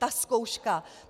Ta zkouška.